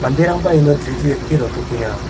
iano dri dri dake rotokenga.